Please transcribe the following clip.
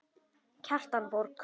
Kjartan Borg.